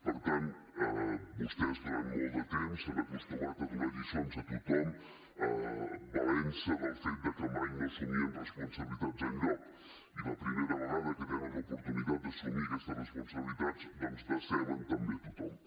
per tant vostès durant molt de temps s’han acostumat a donar lliçons a tothom valent se del fet de que mai no assumien responsabilitats enlloc i la primera vegada que tenen l’oportunitat d’assumir aquestes responsabilitats doncs deceben també a tothom